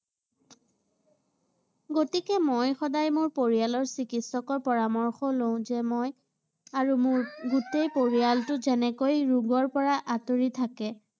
গতিকে মই সদায় মোৰ পৰিয়ালৰ চিকিৎসকৰ পৰামৰ্শ লওঁ যে মই আৰু মোৰ গোটেই পৰিয়ালটো যেনেকৈ ৰোগৰ পৰা আঁতৰি থাকে